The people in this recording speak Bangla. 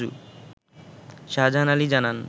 শাহজাহান আলী জানান